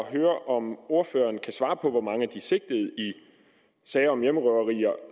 at høre om ordføreren kan svare på hvor mange af de sigtede i sager om hjemmerøverier